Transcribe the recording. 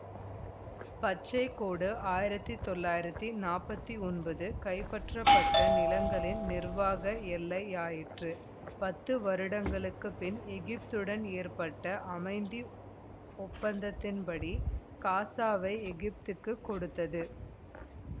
பச்சை கோடு ஆயிரத்தி தொள்ளாயிரத்தி நாற்பத்தி ஒன்பது கைப்பற்றப்பட்ட நிலங்களின் நிர்வாக எல்லையாயிற்று பத்து வருடங்களுக்கு பின் எகிப்துடன் ஏற்பட்ட அமைதி ஒப்பந்தத்தின்படி காசாவை எகிப்துக்குக் கொடுத்தது